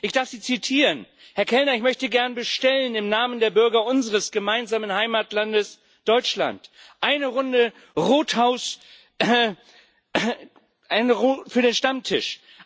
Ich darf Sie zitieren Herr Ober, ich möchte gern bestellen im Namen der Bürger unseres gemeinsamen Heimatlandes Deutschland eine Runde Rothaus für den Stammtisch.